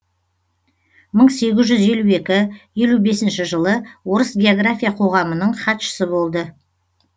мың сегіз жүз елу екі елу бесінші жылы орыс география қоғамының хатшысы болды